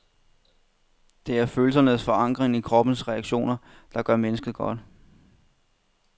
Det er følelsernes forankring i kroppens reaktioner, der gør mennesket godt.